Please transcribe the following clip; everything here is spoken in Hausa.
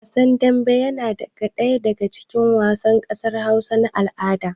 Wasan dambe yana ɗaya daga cikin wasan ƙasar Hausa na al'ada